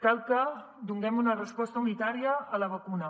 cal que donem una resposta unitària a la vacuna